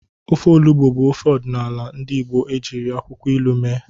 Ofe Olugbu bụ ofe ọdịnala ndị Igbo ejiri akwụkwọ ilu mee.